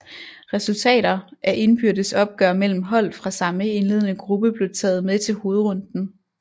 Resultater af indbyrdes opgør mellem hold fra samme indledende gruppe blev taget med til hovedrunden